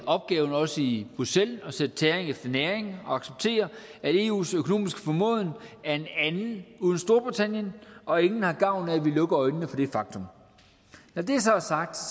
opgaven også i bruxelles at sætte tæring efter næring og acceptere at eus økonomiske formåen er en anden uden storbritannien og ingen har gavn af at vi lukker øjnene for det faktum når det så er sagt